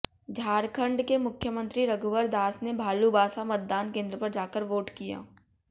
झारखंड के मुख्यमंत्री रघुवर दास ने भालूबासा मतदान केंद्र पर जाकर वोट किया